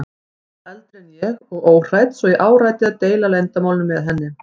Hún var eldri en ég og óhrædd svo ég áræddi að deila leyndarmálinu með henni.